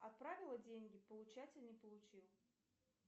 отправила деньги получатель не получил